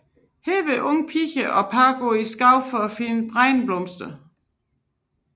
Her vil unge piger og par gå ud i skoven for at finde bregneblomsten